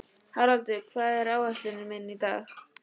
Haraldur, hvað er á áætluninni minni í dag?